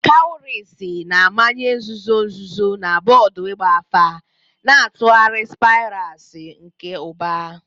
Kwaurisi na-amanye nzuzo nzuzo na bọọdụ ịgba afa, na-atụgharị spirals nke uba.